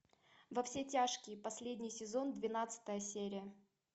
во все тяжкие последний сезон двенадцатая серия